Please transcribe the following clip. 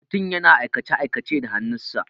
Mutum yana aikace-aikace da hannun sa.